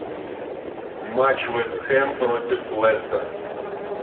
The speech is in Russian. матч вест хэм против лестер